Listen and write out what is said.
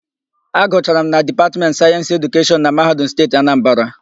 Agụchara m na Dipatmentị Sayensị Edukeshọn na Mahadum Steeti Anambara.